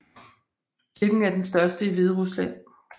Kirken er den største i Hviderusland